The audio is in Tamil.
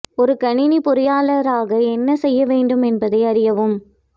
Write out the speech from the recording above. ஒரு கணினி பொறியாளர் ஆக என்ன செய்ய வேண்டும் என்பதை அறியவும்